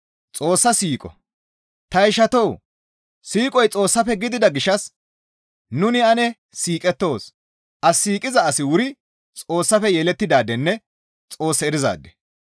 Ta ishatoo! Siiqoy Xoossafe gidida gishshas nuni ane siiqettoos; as siiqiza asi wuri Xoossafe yelettidaadenne Xoos erizaade.